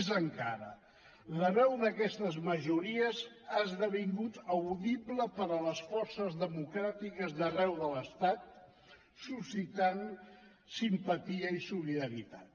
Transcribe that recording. més encara la veu d’aquestes majories ha esdevingut audible per a les forces democràtiques d’arreu de l’estat suscitant simpatia i solidaritat